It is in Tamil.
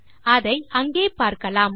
அதை அங்கே பார்க்கலாம்